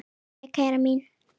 Jæja, mín kæra.